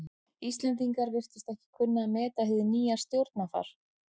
Íslendingar virtust ekki kunna að meta hið nýja stjórnarfar.